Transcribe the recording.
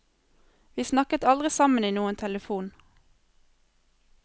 Vi snakket aldri sammen i noen telefon.